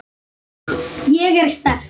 Ég er sterk.